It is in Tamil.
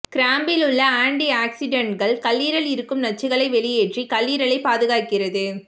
கிராம்பில் உள்ள ஆன்டி ஆக்ஸிடன்ட்கள் கல்லீரல் இருக்கும் நச்சுக்களை வெளியேற்றி கல்லீரலை பாதுகாக்கிறது